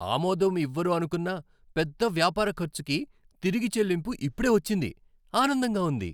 ఆమోదం ఇవ్వరు అనుకున్న పెద్ద వ్యాపార ఖర్చుకి తిరుగు చెల్లింపు ఇప్పుడే వచ్చింది, ఆనందంగా ఉంది.